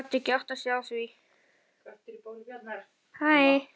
Hann gat ekki áttað sig á því.